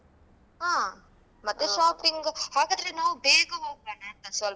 ಹಾ ಮತ್ತೆ shopping ಹಾಗಾದ್ರೆ ನಾವ್ ಬೇಗ ಹೋಗ್ವಾನ ಸ್ವಲ್ಪ.